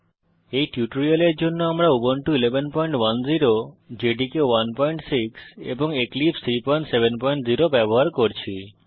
এই টিউটোরিয়ালের জন্য আমরা উবুন্টু 1110 জেডিকে 16 এবং এক্লিপসে 370 ব্যবহার করছি